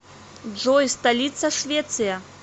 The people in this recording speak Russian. джой столица швеция